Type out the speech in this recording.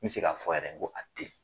N be se ka fɔ yɛrɛ ko a te ye